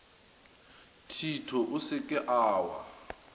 thito o se ke wa